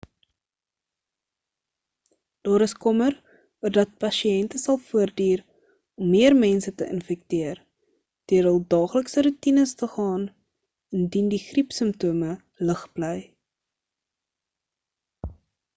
daar is kommer oor dat pasiënte sal voortduur om meer mense te infekteer deur hul daaglikse roetines te gaan indien die griepsimptome lig bly